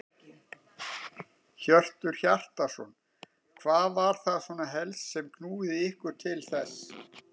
Hjörtur Hjartarson: Hvað var það svona helst sem að knúði ykkur til þess?